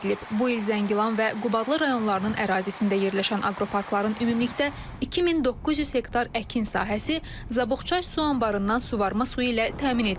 Bu il Zəngilan və Qubadlı rayonlarının ərazisində yerləşən aqroparkların ümumilikdə 2900 hektar əkin sahəsi Zabuxçay su anbarından suvarma suyu ilə təmin edilib.